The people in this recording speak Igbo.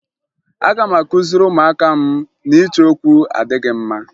Aga m akụziri ụmụaka m na ịchọ okwu adịghị mma